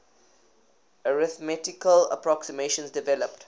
arithmetical approximations developed